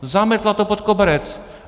Zametla to pod koberec.